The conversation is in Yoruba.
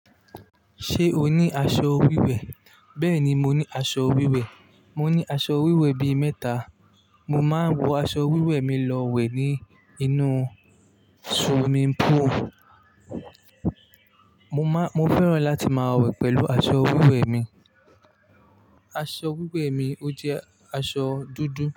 Ṣé o ní aṣọ wíwẹ̀? Bẹ́ẹ̀ni, mo ní aṣọ wíwẹ̀. Mo ní aṣọ wíwẹ̀ bi mẹ́ta. Mo máa ń wọ aṣọ wíwẹ̀ mi lọ wẹ̀ ní inú swimming pool. Mo má-- mo fẹ́ràn láti máa wẹ̀ pẹ̀lú aṣọ wíwẹ̀ mi. Aṣọ wíwẹ̀ mi, ó jẹ́ aṣọ dúdú.